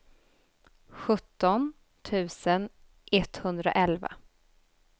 sjutton tusen etthundraelva